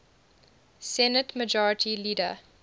senate majority leader